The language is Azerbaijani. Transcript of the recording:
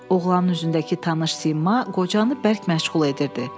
Oğlanın üzündəki tanış sima qocanı bərk məşğul edirdi.